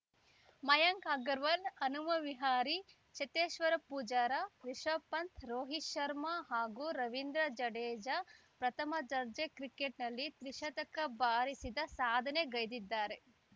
ಮಯಾಂಕ್‌ ಅಗರ್‌ವಾಲ್‌ ಹನುಮ ವಿಹಾರಿ ಚೇತೇಶ್ವರ್‌ ಪೂಜಾರ ರಿಷಭ್‌ ಪಂತ್‌ ರೋಹಿತ್‌ ಶರ್ಮಾ ಹಾಗೂ ರವೀಂದ್ರ ಜಡೇಜಾ ಪ್ರಥಮ ದರ್ಜೆ ಕ್ರಿಕೆಟ್‌ನಲ್ಲಿ ತ್ರಿಶತಕ ಬಾರಿಸಿದ ಸಾಧನೆಗೈದಿದ್ದಾರೆ